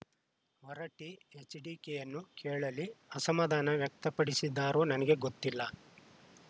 ಹೊರಟ್ಟಿಎಚ್‌ಡಿಕೆಯನ್ನು ಕೇಳಲಿ ಅಸಮಾಧಾನ ವ್ಯಕ್ತಪಡಿಸಿದ್ದಾರೋ ನನಗೆ ಗೊತ್ತಿಲ್ಲ